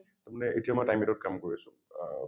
তাৰমানে এতিয়া মই time eight ত কাম কৰি আছোঁ আ